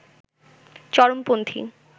চরমপন্থী